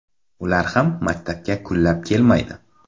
Ular ham maktabga kunlab kelmaydi.